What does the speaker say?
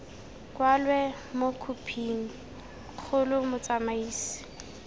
kwalwe mo khophing kgolo motsamaisi